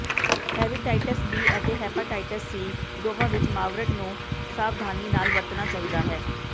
hepatitis B ਅਤੇ hepatitis C ਦੋਨਾਂ ਵਿੱਚ ਮਾਵਰੇਟ ਨੂੰ ਸਾਵਧਾਨੀ ਨਾਲ ਵਰਤਣਾ ਚਾਹੀਦਾ ਹੈ